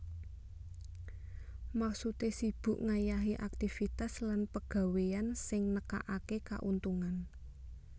Maksudé sibuk ngayahi aktivitas lan pegawéyan sing nekakaké kauntungan